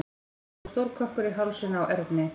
Það var kominn stór kökkur í hálsinn á Erni.